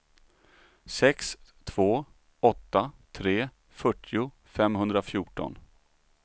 sex två åtta tre fyrtio femhundrafjorton